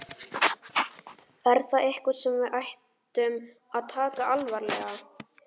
Er það eitthvað sem við ættum að taka alvarlega?